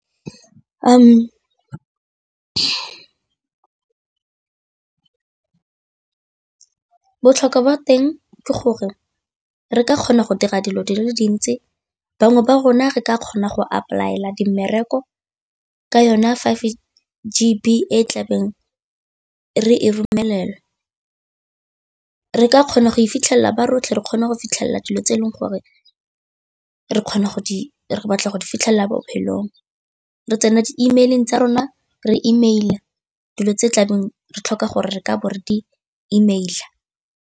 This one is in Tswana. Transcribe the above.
Botlhokwa ba teng ke gore re ka kgona go dira dilo di le dintsi, bangwe ba rona re ka kgona go apply tlhaela di mmereko ka yona five G_B e tlabeng re romelela, re ka kgona go e fitlhelela ba rotlhe re kgona go fitlhelela dilo tse e leng gore re batla go di fitlhelela bophelong, re tsena di-email-eng tsa rona re email dilo tse tlabeng re tlhoka gore re ka bo re di email.